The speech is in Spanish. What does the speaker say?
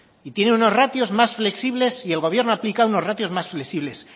y tiene unos ratios más flexibles y el gobierno ha aplicado unos ratios más flexibles